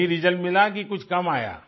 वही रिजल्ट मिला कि कुछ कम आया